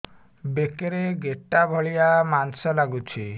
ବେକରେ ଗେଟା ଭଳିଆ ମାଂସ ଲାଗୁଚି